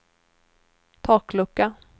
taklucka